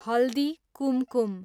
Haldi Kumkum